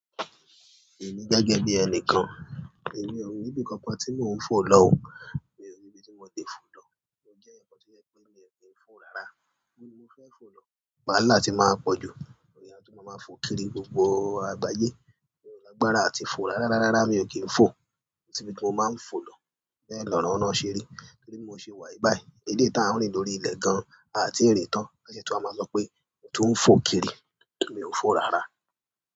Èmi gẹ́gẹ́ bí ẹnìkan, èmi ò níbi kankan tí mò ń fò lọ ò, mi ò níbi tí mo ti fò lọ. Mo jẹ̀yan kan tó jẹ́ pé mi ò kí ń fò rárá. Nibo nii mo fẹ́ fò lọ? Wàhálà ti maa pọ̀ jù, oun ni a tún máa máa fò kiri gbogbo àgbáyé. Mi o iàgbára àti fò rárá rárá rárá mi ò kí ń fò. Ko sibi tí mo máa ń fò lọ bẹ́ẹ̀ lọ́ràánọ́ ṣeré. Bi mò ṣe wà yìí báyìí? Eleyii tà ń rín lórí ilẹ̀ gan-an a ti rin tan. Won se tun wa maa sọ pé mo tún ń fò kiri, mi o n fo rárá.